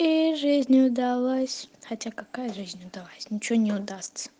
и жизнь удалась хотя какая жизнь удалась ничего не удастся